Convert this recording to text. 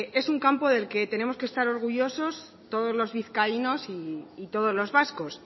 es un campo del que tenemos que estar orgullosos todos los vizcaínos y todos los vascos